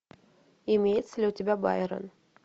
имеется ли у тебя байрон